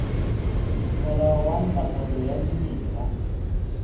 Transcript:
molao wa ntlafatso ya dimela